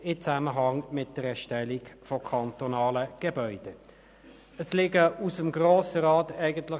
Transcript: Es waren mehrere Personen, die den Ausdruck verwendeten.